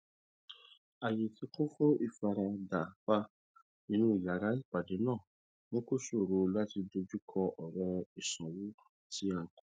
ayé tí kún fún ìfarapa inú yàrá ìpàdé náà mú kó ṣòro láti dojú kọ ọrọ ìsanwó tí a kù